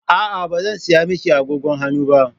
A'a, ba zan saya miki agogon hannu ba.